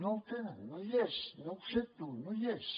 no el tenen no hi és no ho sento no hi és